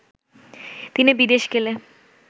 তিনি বিদেশ গেলে